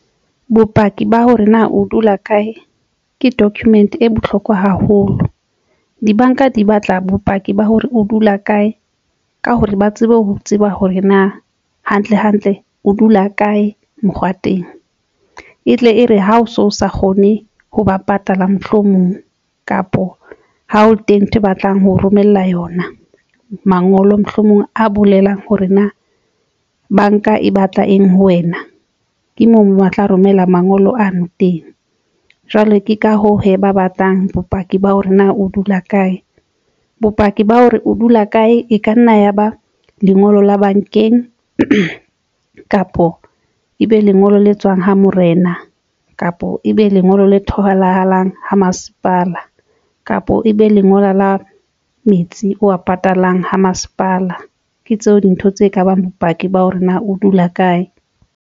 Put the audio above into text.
Bopaki ba hore na o dula kae ke document e bohlokwa haholo. Dibanka di batla bopaki ba hore o dula kae ka hore ba tsebe ho tseba hore na hantle hantle, o dula kae mokgwa teng e tle e re ha o so sa kgone ho ba patala mohlomong kapa ha o teng ntho e batlang ho romella yona mangolo mohlomong a bolelang hore na banka e batla eng ho wena, ke moo wa tla romela mangolo ano teng. Jwale ke ka hoo hee ba batlang bopaki ba hore na o dula kae bopaki ba hore o dula kae e ka nna ya ba lengolo la bankeng kapo ebe lengolo le tswang ho morena, kapo ebe lengolo le tholahalang ha masepala kapo ebe lengolo la metsi o a patalang ho masepala, ke tseo dintho tse ka bang bopaki ba hore na o dula kae.